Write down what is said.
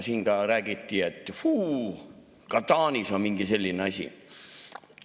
Siin ka räägiti, et fuu, ka Taanis on mingi selline asi.